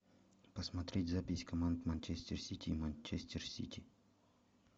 посмотреть запись команд манчестер сити и манчестер сити